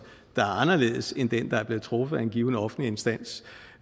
der er anderledes end den der er blevet truffet af en given offentlig instans